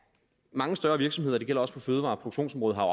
mange større virksomheder det gælder også på fødevareproduktionsområdet har